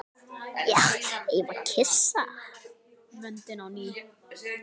Eigum við að kyssa vöndinn á ný?